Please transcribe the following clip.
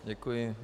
Děkuji.